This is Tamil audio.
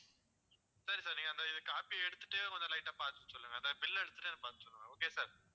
சரி sir நீங்க அந்த copy அ எடுத்துட்டே கொஞ்சம் light ஆ பார்த்து சொல்லுங்க அந்த bill எடுத்துட்டே எனக்கு பார்த்து சொல்லுங்க okay வா sir